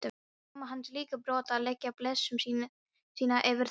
Mamma hans líka brött að leggja blessun sína yfir þetta.